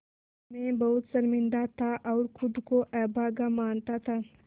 मैं बहुत शर्मिंदा था और ख़ुद को अभागा मानता था